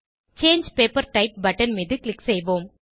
சாங்கே paper type button மீது click செய்வோம்